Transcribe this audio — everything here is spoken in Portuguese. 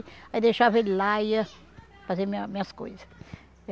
Aí deixava ele lá e ia fazer minha minhas coisas.